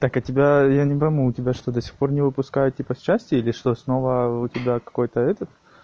так а тебя я не пойму у тебя что до сих пор не выпускают типа с части или что снова у тебя какой-то этот